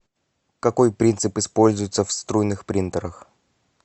какой принцип используется в струйных принтерах